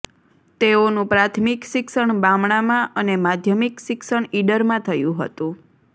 તેઓનું પ્રાથમિક શિક્ષણ બામણામાં અને માધ્યમિક શિક્ષણ ઇડરમાં થયું હતું